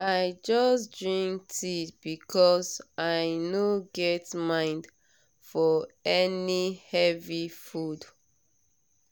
i just drink tea because i no get mind for any heavy food.